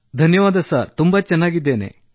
ಧನ್ಯವಾದ ಸರ್ ತುಂಬಾ ಚೆನ್ನಾಗಿದ್ದೇನೆ